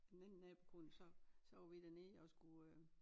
Den ene nabokone så så var vi dernede og skulle øh